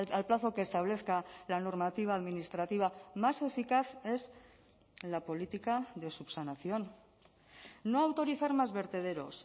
al plazo que establezca la normativa administrativa más eficaz es la política de subsanación no autorizar más vertederos